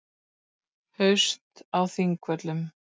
Singapúr